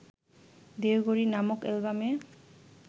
'দেহঘড়ি' নামক অ্যালবামে